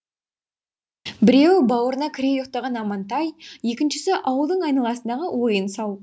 біреуі бауырына кіре ұйықтаған амантай екіншісі ауылдың айналасындағы ойын сауық